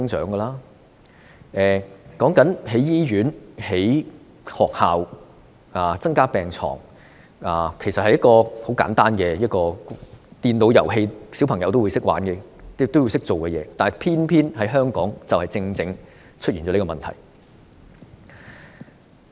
人口增長，便要興建醫院、興建學校和增加病床，這是很簡單的的規則，連小朋友也會明白，但偏偏香港正出現這個問題。